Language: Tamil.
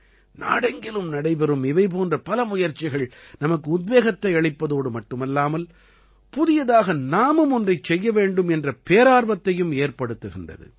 நாடெங்கிலும் நடைபெறும் இவை போன்ற பல முயற்சிகள் நமக்கு உத்வேகத்தை அளிப்பதோடு மட்டுமல்லாமல் புதியதாக நாமும் ஒன்றைச் செய்ய வேண்டும் என்ற பேரார்வத்தையும் ஏற்படுத்துகின்றது